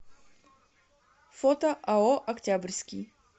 фото ао октябрьский